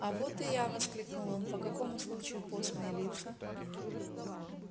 а вот и я воскликнул он по какому случаю постные лица